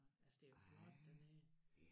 Altså det jo flot dernede